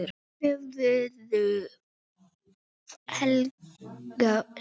Hörður og Helga skildu.